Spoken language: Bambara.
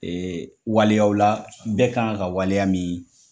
Ee waliyaw la bɛɛ kan ka waleya min